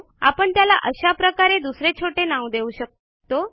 आपण त्याला अशा प्रकारे दुसरे छोटे नाव देऊ शकतो